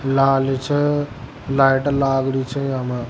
लाल छ लाइट लाग रहि च याम।